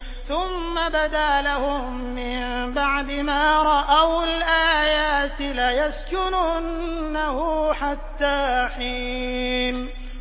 ثُمَّ بَدَا لَهُم مِّن بَعْدِ مَا رَأَوُا الْآيَاتِ لَيَسْجُنُنَّهُ حَتَّىٰ حِينٍ